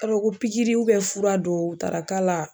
I b'a dɔn ko pigiri ubiyɛn fura dɔw taara k'a la